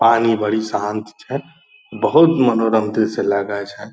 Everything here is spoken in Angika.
पानी बड़ी शांत छै बहुत मनोरम दृश्य लगय छै।